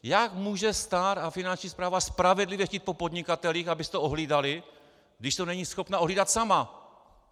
Jak může stát a Finanční správa spravedlivě chtít po podnikatelích, aby si to ohlídali, když to není schopna ohlídat sama?